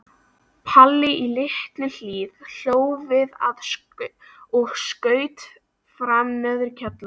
Palli í Litlu-Hlíð hló við og skaut fram neðri kjálkanum.